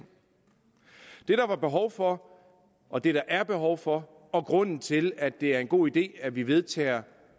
det der var behov for og det der er behov for og grunden til at det er en god idé at vi vedtager